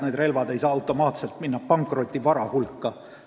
Need relvad ei saa automaatselt pankrotivara hulka minna.